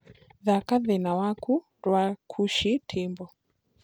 thaka thĩna waku rwa nkuashi ntimbo